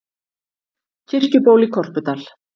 Kirkjuból í Korpudal.